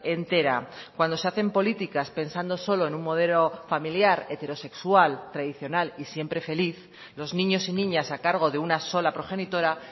entera cuando se hacen políticas pensando solo en un modelo familiar heterosexual tradicional y siempre feliz los niños y niñas a cargo de una sola progenitora